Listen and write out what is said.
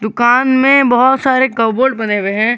दुकान में बहोत सारे कपबोर्ड बने हुए हैं।